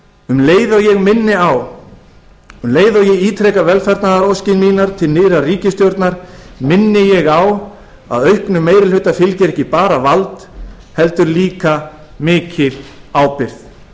um leið og ég minni á um leið og ég ítreka velfarnaðaróskir mínar til nýrrar ríkisstjórnar minni ég á að auknum meiri hluta fylgir ekki bara vald heldur líka mikil ábyrgð